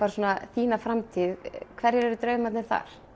þína framtíð hverjir eru draumarnir þar